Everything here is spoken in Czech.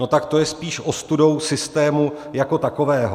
No tak to je spíš ostudou systému jako takového.